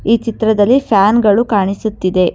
ಈ ಚಿತ್ರದಲ್ಲಿ ಫ್ಯಾನ್ ಗಳು ಕಾಣಿಸುತ್ತಿದೆ.